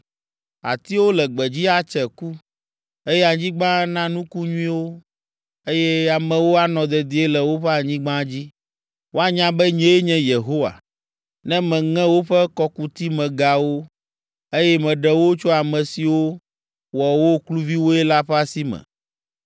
Atiwo le gbedzi atse ku, eye anyigba ana nuku nyuiwo, eye amewo anɔ dedie le woƒe anyigba dzi. Woanya be nyee nye Yehowa, ne meŋe woƒe kɔkutimegawo, eye meɖe wo tso ame siwo wɔ wo kluviwoe la ƒe asi me.